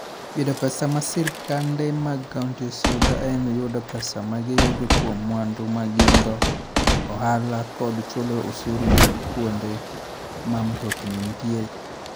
Yudo pesa ma sirkande mag counties yudo en yudo pesa ma giyudo kuom mwandu ma gin-go, ohala, kod chulo osuru mag kuonde ma mtokni nitie.